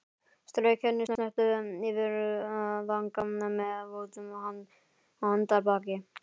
Strauk henni snöggt yfir vanga með votu handarbaki.